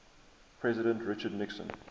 president richard nixon